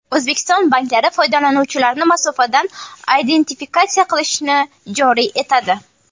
O‘zbekiston banklari foydalanuvchilarni masofadan identifikatsiya qilishni joriy etadi.